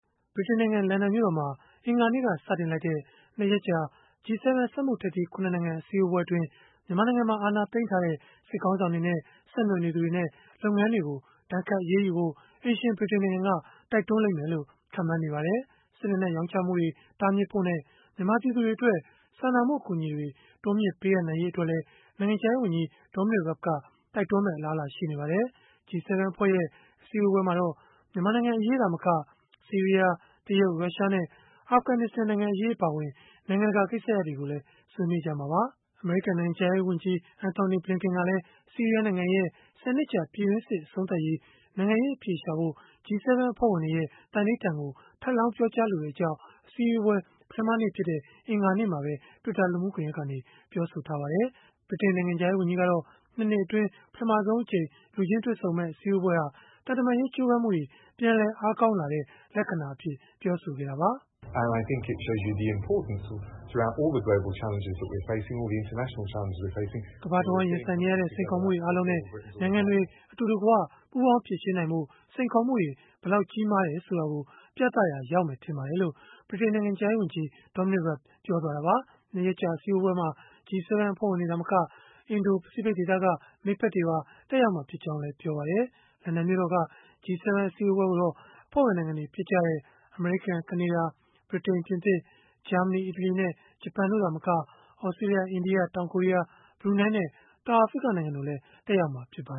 ဗြိတိန်နိုင်ငံ လန်ဒန်မြို့တော်မှာ အင်္ဂါနေ့က စတင်လိုက်တဲ့ ၂ ရက်ကြာ (G7) စက်မှုထိပ်သီး ၇ နိုင်ငံ အစည်းအဝေးအတွင်း မြန်မာနိုင်ငံမှာ အာဏာသိမ်းထားတဲ့ စစ်ခေါင်းဆောင်တွေနဲ့ ဆက်နွယ်နေသူတွေနဲ့ လုပ်ငန်းတွေကို ဒဏ်ခတ်အရေးယူဖို့ အိမ်ရှင်ဗြိတိန်နိုင်ငံက တိုက်တွန်းလိမ့်မယ်လို့ ခန့်မှန်းနေကြပါတယ်။ စစ်လက်နက် ရောင်းချမှုတွေ တားမြစ်ဖို့နဲ့ မြန်မာပြည်သူတွေအတွက် စာနာမှု အကူအညီတွေ တိုးမြှင့်ပေးအပ်နိုင်ရေး အတွက်လည်း နိုင်ငံခြားရေးဝန်ကြီး Dominic Raab က တိုက်တွန်းမယ့် အလားအလာရှိနေပါတယ်။ G7 အဖွဲ့ရဲ့ အစည်းအဝေးမှာတော့ မြန်မာနိုင်ငံအရေး သာမက ဆီးရီးယား၊ တရုတ်၊ ရုရှားနဲ့ အာဖဂနစ္စတန် နိုင်ငံအရေး အပါအဝင် နိုင်ငံတကာ ကိစ္စရပ်တွေကိုလည်း ဆွေးနွေးကြမှာပါ။ အမေရိကန် နိုင်ငံခြားရေးဝန်ကြီး ဝန်ကြီး Antony Blinken ကတော့ ဆီးရီးယား နိုင်ငံရဲ့ ၁၀ နှစ်ကြာ ပြည်တွင်းစစ် အဆုံးသတ်ရေး နိုင်ငံရေး အဖြေရှာဖို့ G7 အဖွဲ့ဝင်တွေရဲ့ သန္နိဋ္ဌာန်ကို ထပ်လောင်းပြောကြားလိုကြောင်း အစည်းအဝေး ပထမနေ့ဖြစ်တဲ့ အင်္ဂါနေ့မှာပဲ Twitter လူမှုကွန်ရက်ကနေ ပြောဆိုထားပါတယ်။ ဗြိတိန်နိုင်ငံခြားရေးဝန်ကြီးကတော့ ၂ နှစ်အတွင်း ပထမဆုံးအကြိမ် လူချင်းတွေ့ဆုံမယ့် အစည်းအဝေးဟာ သံတမန်ရေး ကြိုးပမ်းမှုတွေ ပြန်လည်အားကောင်းလာတဲ့ လက္ခဏာအဖြစ် ပြောဆိုခဲ့တာပါ။ “ကမ္ဘာတဝန်း ရင်ဆိုင်နေရတဲ့ စိန်ခေါ်မှုတွေ အားလုံးနဲ့ နိုင်ငံတွေ အတူတကွ ပူးပေါင်းဖြေရှင်းနိုင်ဖို့ စိန်ခေါ်မှုတွေ ဘယ်လောက် ကြီးမားတယ်ဆိုတာကို ပြသရာရောက်မယ် ထင်ပါတယ်။” လို့ ဗြိတိန်နိုင်ငံခြားရေးဝန်ကြီး Dominic Raab ပြောသွားတာပါ။ ၂ ရက်ကြာ အစည်းအဝေးမှာ G7 အဖွဲ့ဝင်တွေ သာမက အင်ဒို၊ ပစိဖိတ်ဒေသက မိတ်ဖက်တွေပါ တက်ရောက်မှာ ဖြစ်ကြောင်းလည်း ပြောပါတယ်။ လန်ဒန်မြို့တော်က G7 အစည်းအဝေးကိုတော့ အဖွဲ့ဝင် နိုင်ငံတွေ ဖြစ်ကြတဲ့ အမေရိကန်၊ ကနေဒါ၊ ဗြိတိန်၊ ပြင်သစ်၊ ဂျာမနီ၊ အီတလီနဲ့ ဂျပန် တို့သာမက၊ သြစတြေးလျ၊ အိန္ဒိယ၊ တောင်ကိုရီးယား၊ ဘရူနိုင်းနဲ့ တောင်အာဖရိက နိုင်ငံတို့လည်း တက်ရောက်မှာ ဖြစ်ပါ